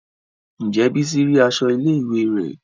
Ǹjẹ́ bísí rí aṣọ ilé ìwé rẹ̀?